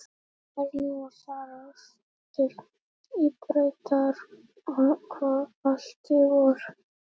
Þú færð nú að fara aftur í Brautarholt í vor.